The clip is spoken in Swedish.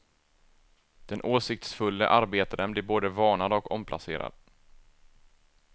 Den åsiktsfulle arbetaren blev både varnad och omplacerad.